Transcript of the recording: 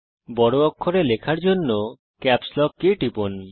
বড় অক্ষরে লেখার জন্য ক্যাপস লক কি টিপুন